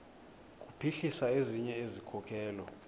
kuphuhlisa ezinye izikhokelo